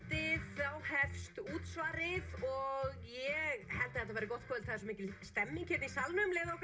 þá hefst útsvarið og ég held þetta verði gott kvöld svo mikil stemning í salnum leyfið okkur